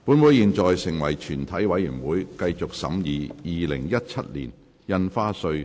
本會現在成為全體委員會，繼續審議《2017年印花稅條例草案》。